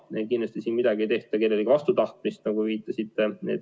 Meil kindlasti midagi ei tehta vastu kellegi tahtmist, nagu te viitasite.